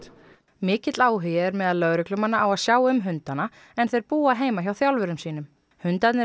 mikill áhugi er meðal lögreglumanna á að sjá um hundana en þeir búa heima hjá þjálfurum sínum hundarnir eru